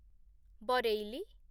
Bareilly